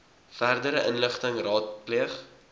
verdere inligting raadpleeg